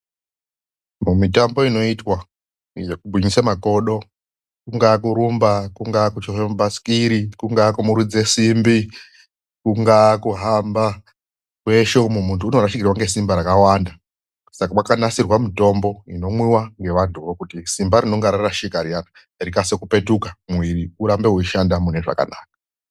Mumitambo inoitwa yekugwinyisa makodo kungaa kurumba ,kunga a,kuchovha mabhasikoro kungaa kumurudze simb,i kungaa kuhamba .Kweshe uko muntu anorashikirwa ngesimba rakawanda saka kwakanakira mitombo inomwiwa nevantu ivavo kuti simba rinenge rarashika rikasire kipetuka ,mwiri ushande zvakanaka.